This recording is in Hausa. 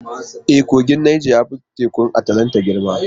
E, kogin Nijar ya fi Tekun Atlantika girma.